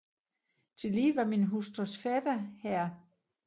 Tillige var min hustrus fætter Hr